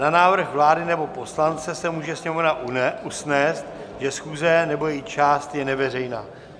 Na návrh vlády nebo poslance se může Sněmovna usnést, že schůze nebo její část je neveřejná.